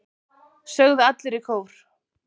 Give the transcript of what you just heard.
sögðu allir í kór.